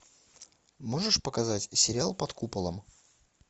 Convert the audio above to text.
можешь показать сериал под куполом